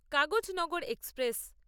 Kagaznagar express